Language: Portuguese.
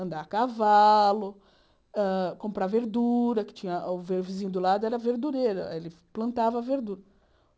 Andar a cavalo, hã comprar verdura, que tinha... O vizinho do lado era verdureiro, ele plantava